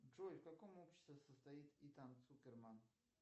джой в каком обществе состоит итан суперман